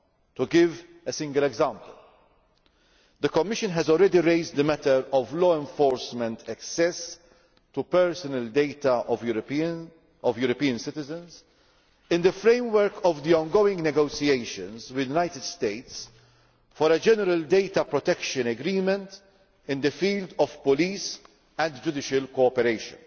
To give a single example, the Commission has already raised the matter of law enforcement access to personal data of European citizens in the framework of the ongoing negotiations with the United States for a general data protection agreement in the field of police and judicial cooperation.